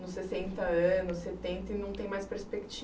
nos sessenta anos, setenta e não tem mais